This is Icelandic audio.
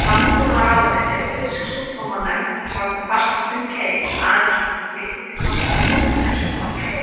Landbúnaðarráðuneytið og Fisksjúkdómanefnd sátu fast við sinn keip: Aðeins mætti flytja þangað sótthreinsuð hrogn.